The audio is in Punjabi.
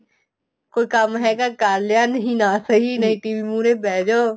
ਕੋਈ ਕੰਮ ਹੈਗਾ ਕਰ ਲਿਆ ਨਹੀਂ ਨਾ ਸਹੀ ਨੀ TV ਮੁਹਰੇ ਬਿਹ ਜੋ